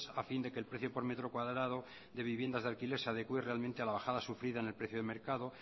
a fin de que el precio por metro cuadrado de viviendas de alquiler se adecue realmente a la bajada sufrida en el precio de mercado